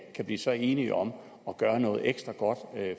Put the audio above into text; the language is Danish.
kan blive så enige om at gøre noget ekstra godt